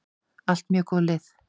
Allt mjög góð lið.